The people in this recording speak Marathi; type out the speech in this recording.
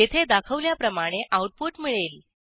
येथे दाखवल्याप्रमाणे आऊटपुट मिळेल